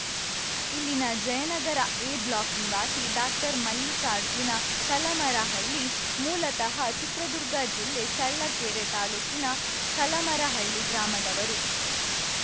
ಇಲ್ಲಿನ Jayanagar A block ನಿವಾಸಿ ಡಾಕ್ಟರ್ಮಲ್ಲಿಕಾರ್ಜುನ ಕಲಮರಹಳ್ಳಿ ಮೂಲತಃ ಚಿತ್ರದುರ್ಗ ಜಿಲ್ಲೆ ಚಳ್ಳಕೆರೆ ತಾಲೂಕಿನ ಕಲಮರಹಳ್ಳಿ ಗ್ರಾಮದವರು